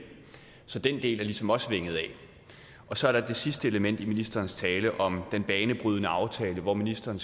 så den del er ligesom også vinget af så er der det sidste element i ministerens tale om den banebrydende aftale hvor ministeren